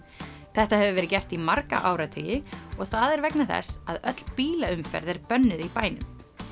þetta hefur verið gert í marga áratugi og það er vegna þess að öll bílaumferð er bönnuð í bænum